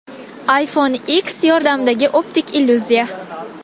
iPhone X yordamidagi optik illyuziya.